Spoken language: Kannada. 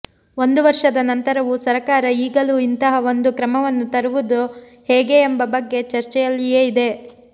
ಒಂದು ವರ್ಷದ ನಂತರವೂ ಸರಕಾರ ಈಗಲೂ ಇಂತಹ ಒಂದು ಕ್ರಮವನ್ನು ತರುವುದು ಹೇಗೆ ಎಂಬ ಬಗ್ಗೆ ಚರ್ಚ್ಚೆಯಲ್ಲಿಯೇ ಇದೆ